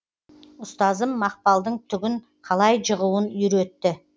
ұстазым мақпалдың түгін қалай жығуын үйретті